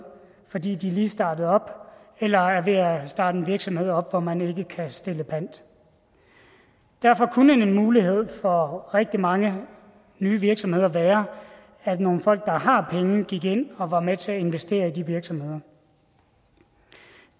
fordi de lige er startet op eller er ved at starte en virksomhed op hvor man ikke kan stille pant derfor kunne en mulighed for rigtig mange nye virksomheder være at nogle folk der har penge gik ind og var med til at investere i de virksomheder